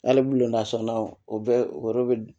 Hali bi lanasɔnna o bɛ o yɔrɔ bɛ